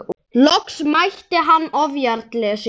Loks mætti hann ofjarli sínum.